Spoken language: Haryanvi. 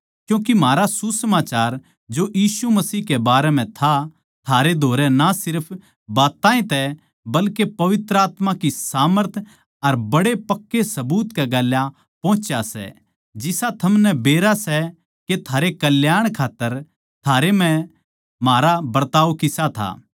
क्यूँके म्हारा सुसमाचार जो यीशु मसीह के बारें म्ह था थारै धोरै ना सिर्फ बात्तां तै ए न्ही बल्के पवित्र आत्मा की सामर्थ अर बड्डे पक्कै सबूत कै गेल पोहुच्या सै जिसा थमनै बेरा सै के थारै कल्याण खात्तर थारै म्ह म्हारा बरताव किसा था